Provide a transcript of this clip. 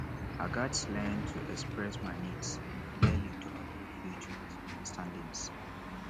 i gats learn to express my needs clearly to avoid future misunderstandings